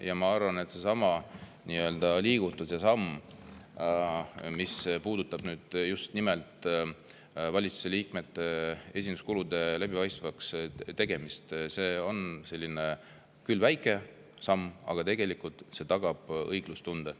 Ja ma arvan, et seesama liigutus, mis puudutab just nimelt valitsuse liikmete esinduskulude läbipaistvaks tegemist, on küll väike samm, aga tagab õiglustunde.